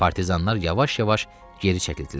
Partizanlar yavaş-yavaş geri çəkildilər.